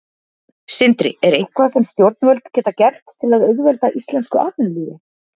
Sindri: Er eitthvað sem stjórnvöld geta gert til að auðvelda íslensku atvinnulífi?